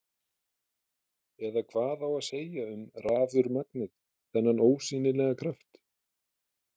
Eða hvað á að segja um rafurmagnið, þennan ósýnilega kraft?